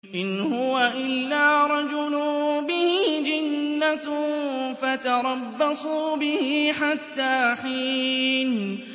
إِنْ هُوَ إِلَّا رَجُلٌ بِهِ جِنَّةٌ فَتَرَبَّصُوا بِهِ حَتَّىٰ حِينٍ